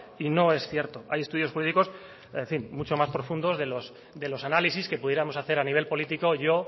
y no es cierto hay estudios jurídicos en fin mucho más profundos de los análisis que pudiéramos hacer a nivel político yo